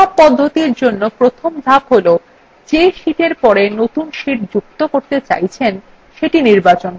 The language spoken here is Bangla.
সব পদ্ধতির জন্য প্রথম ধাপ হল the sheetএর পরে নতুন sheet যুক্ত করতে চাইছেন সেটি নির্বাচন করুন